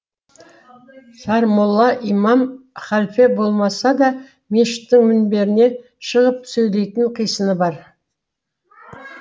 сармолла имам халфе болмаса да мешіттің мінберіне шығып сөйлейтін қисыны бар